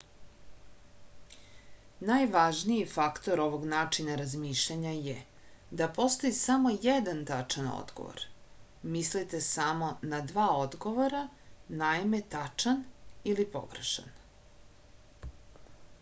najvažniji faktor ovog načina razmišljanja je da postoji samo jedan tačan odgovor mislite samo na dva odgovora naime tačan ili pogrešan